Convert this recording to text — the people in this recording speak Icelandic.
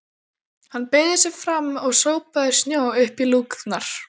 Hann beygði sig fram og sópaði snjó upp í lúkurnar.